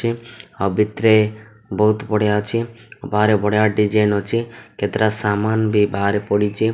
ଆଉ ଭିତିରେ ବହୁତ୍ ବଢ଼ିଆ ଅଛି ବାହାରେ ବଢ଼ିଆ ଡିଜାଇନ୍ ଅଛି କେତେଟା ସାମାନ୍ ବି ବାହାରେ ପଡ଼ିଚି।